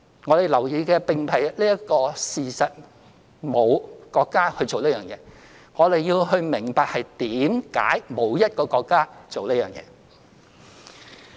我們要留意的，並非沒有國家做這件事這一事實，而是要明白為何沒有一個國家做這件事。